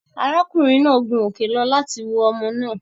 Ará kùnrin náà gun òkè lọ láti wo omo náà